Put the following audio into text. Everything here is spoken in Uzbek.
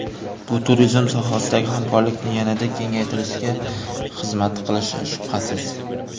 Bu turizm sohasidagi hamkorlikni yanada kengaytirishga xizmat qilishi shubhasiz.